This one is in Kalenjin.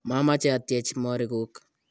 mameche atyech morikuk